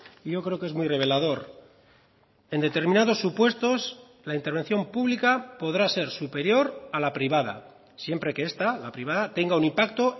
y yo creo que es muy revelador en determinados supuestos la intervención pública podrá ser superior a la privada siempre que esta la privada tenga un impacto